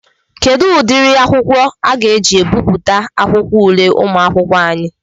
Kedụ ụdịrị akwụkwọ aga eji ebipụta akwụkwọ ule ụmụakwụkwọ anyị?